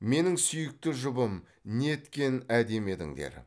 менің сүйікті жұбым неткен әдемі едіңдер